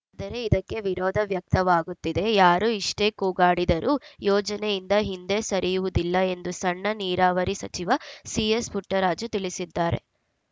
ಆದರೆ ಇದಕ್ಕೆ ವಿರೋಧ ವ್ಯಕ್ತವಾಗುತ್ತಿದೆ ಯಾರು ಎಷ್ಟೇ ಕೂಗಾಡಿದರೂ ಯೋಜನೆಯಿಂದ ಹಿಂದೆ ಸರಿಯುವುದಿಲ್ಲ ಎಂದು ಸಣ್ಣ ನೀರಾವರಿ ಸಚಿವ ಸಿಎಸ್‌ಪುಟ್ಟರಾಜು ತಿಳಿಸಿದ್ದಾರೆ